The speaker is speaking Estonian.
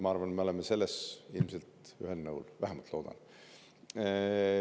Ma arvan, et selles me oleme ilmselt ühel nõul, vähemalt loodan.